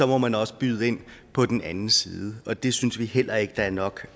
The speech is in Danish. må man også byde ind på den anden side og det synes vi heller ikke der er nok